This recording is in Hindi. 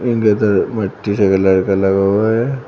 गदर मिट्टी के कलर का लगा हुआ है।